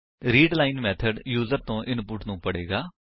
readline method user ਤੋ input ਨੂੰ ਪੜੇਗਾ